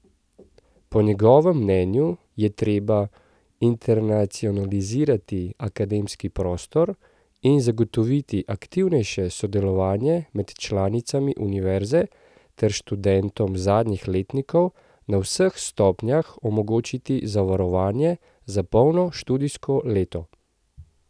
Po njegovem mnenju je treba internacionalizirati akademski prostor in zagotoviti aktivnejše sodelovanje med članicami univerze ter študentom zadnjih letnikov na vseh stopnjah omogočiti zavarovanje za polno študijsko leto.